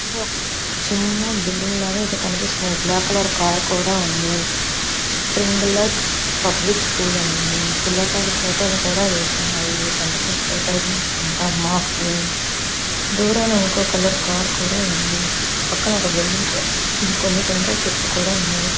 ఇదొక చిన్న బిల్డింగ్ లాగా కనిపిస్తుంది. బ్లాక్ కలర్ కారు కూడా ఉంది. స్ప్రింగ్ లైట్స్ పబ్లిక్ స్కూల్ అని ఉంది. పిల్లకాయల ఫోటోలు కూడా వేస్తున్నాయి. టెన్త్ క్లాస్ ఫోటోలు అనుకుంటే మార్క్స్ వి . దూరాన ఒక కలర్ కార్ కూడా ఉంది. పక్కన ఒక బిల్డింగు టెంకాయ చెట్లు కూడా ఉన్నాయి.